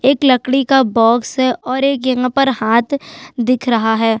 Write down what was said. एक लकड़ी का बॉक्स है और एक यहाँ पर हाथ दिख रहा है।